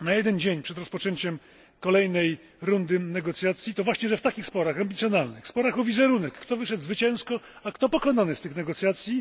na jeden dzień przed rozpoczęciem kolejnej rundy negocjacji właśnie to, że w takich sporach ambicjonalnych, sporach o wizerunek kto wyszedł zwycięsko, a kto pokonany z tych negocjacji